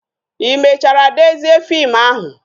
I mechara dezie fim ahụ?